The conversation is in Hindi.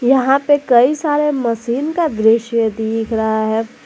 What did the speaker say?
यहां पे कई सारे मशीन का दृश्य दिख रहा है।